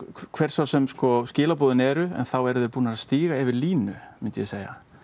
hver svo sem skilaboðin eru þá eru þeir búnir að stíga yfir línu myndi ég segja